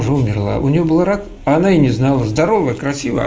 уже умерла у неё был рак она и не знал здорова красива